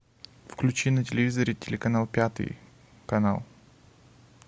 включи на телевизоре телеканал пятый канал